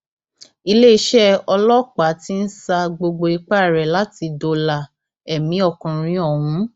iléeṣẹ ọlọpàá ti ń sa gbogbo ipá rẹ láti dóòlà ẹmí ọkùnrin ọhún